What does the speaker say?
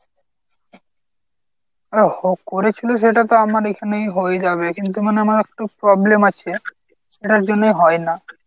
ও হ করেছিল সেটা তো আমার এখানেই হয়ে যাবে। কিন্তু মানে আমার একটু problem আছে এটার জন্যই হয় না।